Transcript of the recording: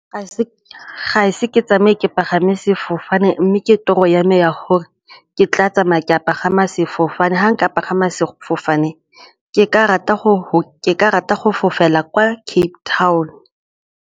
Ga ise ke tsamaye ke pagame sefofane mme ke toro yame ya gore ke tla tsamaya ke pagama sefofane, ga nka pagama sefofane ke ka rata go fofela kwa Cape Town.